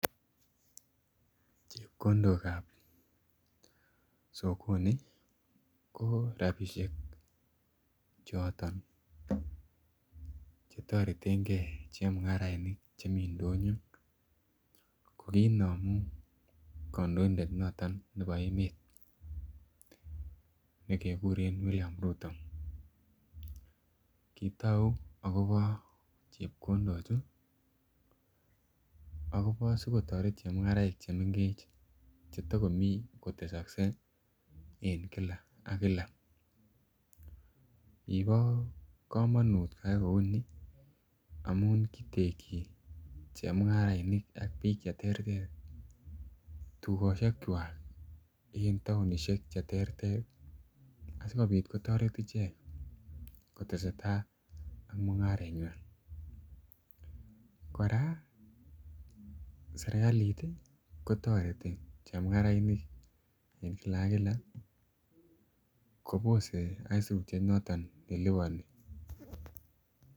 Chepkondok chebo sokoni ko rabisiek choton Che toretengei chemungarainik chemi ndonyo ko kinomu kandoindet noton nebo emet nekekuren William Ruto kitou agobo chepkondochu asi kotoret chemungarainik Che mengech cheto komi kotesoksei en kila ak kila kibo kamanut koyai kou ni amun kitekyi chemungarainik ak bik Che terter tugosiekwak en taonisiek Che terter asikobit kotoret ichek kotestai ak mungarenywa kora serkalit kotoreti chemungarainik en kila ak kila kobose aisurut noton ne liponi